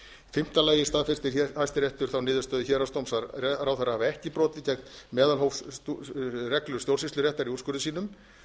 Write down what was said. fimmta lagi staðfestir hæstiréttur þá niðurstöðu héraðsdóms að ráðherra hafi ekki brotið gegn meðalhófsreglu stjórnsýsluréttar í úrskurði sínum